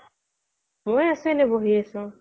মই আছোঁ এনেই বহি আছোঁ